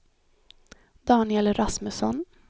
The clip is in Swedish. Daniel Rasmusson